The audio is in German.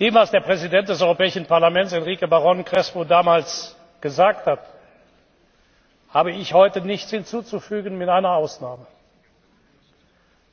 Dem, was der Präsident des Europäischen Parlaments, Enrique Baron Crespo, damals gesagt hat, habe ich heute nichts hinzuzufügen, mit einer Ausnahme